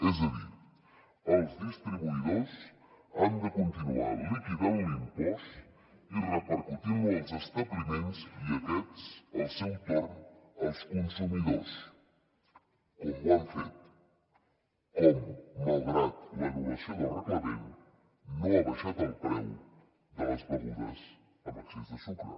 és a dir els distribuïdors han de continuar liquidant l’impost i repercutint lo als establiments i aquests al seu torn als consumidors com ho han fet com malgrat l’anul·lació del reglament no ha baixat el preu de les begudes amb excés de sucre